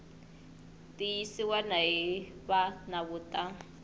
tiyisiwa hi va nawu ta